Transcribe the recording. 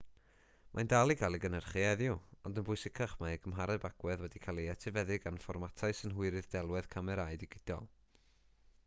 mae'n dal i gael ei gynhyrchu heddiw ond yn bwysicach mae ei gymhareb agwedd wedi cael ei etifeddu gan fformatau synhwyrydd delwedd camerâu digidol